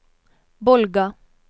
Bolga